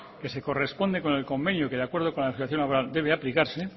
que se corresponde con el convenio que de acuerdo con la legislación laboral debe aplicarse